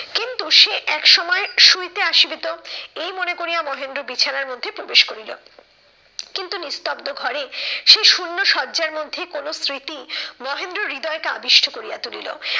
কিন্তু সে এক সময় শুইতে আসিবে তো, এই মনে করিয়া মহেন্দ্র বিছানার মধ্যে প্রবেশ করিল। কিন্তু নিস্তব্ধ ঘরে সে শুন্য সজ্জার মধ্যে কোনো স্মৃতি মহেন্দ্রর হৃদয়টা আবিষ্ট করিয়া তুলিল।